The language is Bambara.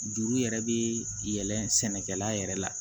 Juru yɛrɛ bɛ yɛlɛn sɛnɛkɛla yɛrɛ la